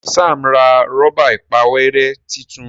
Ṣe Sam rà Rọ́bà ìpàwérẹ́ títún?